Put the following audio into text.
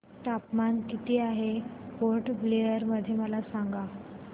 तापमान किती आहे पोर्ट ब्लेअर मध्ये मला सांगा